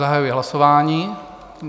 Zahajuji hlasování.